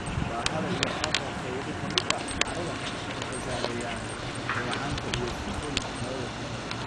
Baaxadda iyo qaabka qaybo ka mid ah carrada waxay saameeyaan dheecaanka iyo sifooyinka hawada.